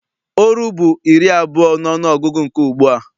Oru bụ iri abụọ n'ọnụgụgụ nke ugbua.